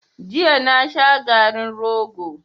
Jiya na sha garin rogo.